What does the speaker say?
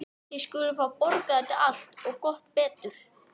Þið skuluð fá að borga þetta allt. og gott betur!